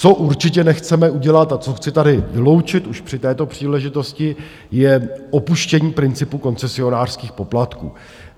Co určitě nechceme udělat a co chci tady vyloučit už při této příležitosti, je opuštění principu koncesionářských poplatků.